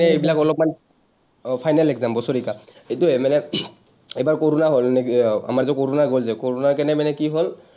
এইবিলাক অলপমান, অ, final exam, বছেৰেকীয়া। সেইটোৱেই মানে, এইবাৰ কৰ’ণা হ’ল। আহ আমাৰটো কৰ’ণা গ’ল যে, কৰ’ণাৰ কাৰণে মানে কি হ’ল,